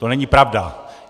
To není pravda!